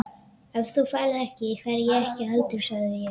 Ef þú ferð ekki, fer ég ekki heldur sagði ég.